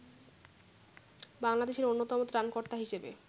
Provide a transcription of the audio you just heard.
বাংলাদেশের অন্যতম ত্রাণকর্তা হিসেবে